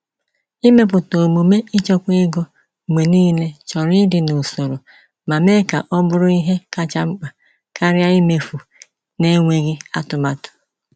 Ịmepụta omume ịchekwa ego mgbe niile chọrọ ịdị n’usoro ma mee ka o bụrụ ihe kacha mkpa karịa imefu n’enweghị atụmatụ.